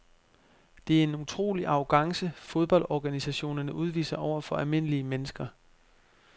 Det er en utrolig arrogance fodboldorganisationerne udviser over for almindelige mennesker.